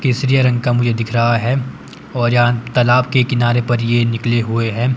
केसरिया रंग का मुझे दिख रहा हैं और यहां तालाब के किनारे पर ये निकले हुए है।